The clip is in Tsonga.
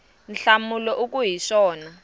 hlamula u ku hi swona